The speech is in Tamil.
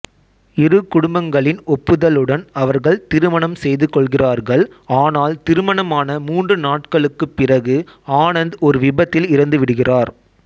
இரு குடும்பங்களின் ஒப்புதலுடன் அவர்கள் திருமணம் செய்துகொள்கிறார்கள் ஆனால் திருமணமான மூன்று நாட்களுக்குப் பிறகு ஆனந்த் ஒரு விபத்தில் இறந்துவிடுகிறார்